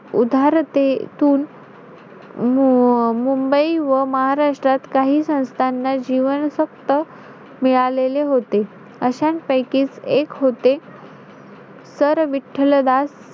उधारतेतून म~ अं मुंबई व महाराष्ट्रात काही संस्थांना जीवन फक्त मिळालेले होते. अशांपैकीच एक होते sir विठ्ठलदास,